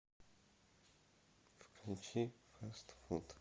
включи фаст фуд